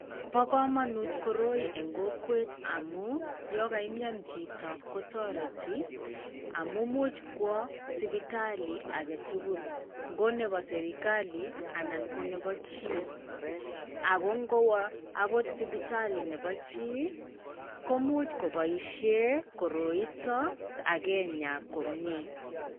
Bo komonut koroi eng' kokwet amu; yon kaimyan chito kotoreti amu imuch kwo sipitali age tugul. Ngo nebo serkali anan ko nebo chii. Ago ngowo agot sipitali nebo chii, komuch koboishen koroito akenyaa komie.